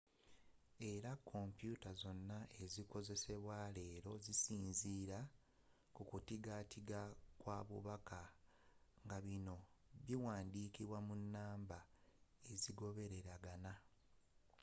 era kompyuta zonna ezikozesebwa leero zisinziira kukutigatiga kwa bubaka nga bino biwandikibwa mu namba ezigoberegana